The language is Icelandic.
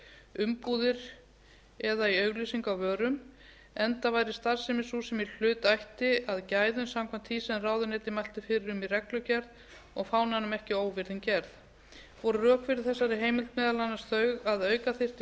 umbúðir eða í auglýsingu á vörum enda væri starfsemi sú sem í hlut ætti að gæðum samkvæmt því sem ráðuneytið mælti fyrir um í reglugerð og fánanum ekki óvirðing gerð voru rök fyrir þessari heimild meðal annars þau að auka þyrfti